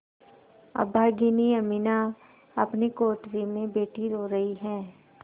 अभागिनी अमीना अपनी कोठरी में बैठी रो रही है